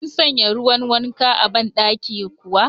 Kun sanya ruwan wanka a ban dakin kuwa?.